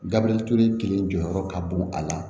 Gabiriyɛri ture kelen jɔyɔrɔ ka bon a la